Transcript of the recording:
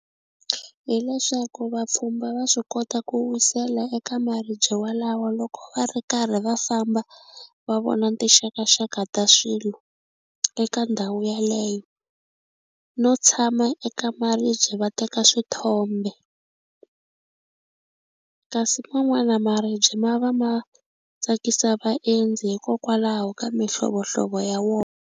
Hi leswaku vapfhumba va swi kota ku wisela eka maribye walawo loko va ri karhi va famba va vona tinxakaxaka ta swilo eka ndhawu yeleyo no tshama eka maribye va teka swithombe kasi man'wana maribye ma va ma tsakisa vaendzi hikokwalaho ka mihlovohlovo ya .